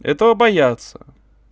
этого боятся